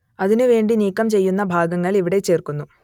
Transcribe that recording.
അതിനു വേണ്ടി നീക്കം ചെയ്യുന്ന ഭാഗങ്ങൾ ഇവിടെ ചേർക്കുന്നു